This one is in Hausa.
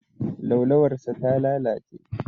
Laulawarsa ta lalace.